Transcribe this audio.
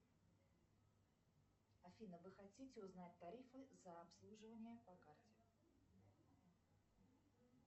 афина вы хотите узнать тарифы за обслуживание по карте